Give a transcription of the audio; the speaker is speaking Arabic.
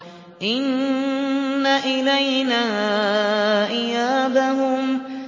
إِنَّ إِلَيْنَا إِيَابَهُمْ